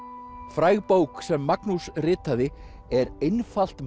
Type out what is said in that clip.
fræg bók sem Magnús ritaði er einfalt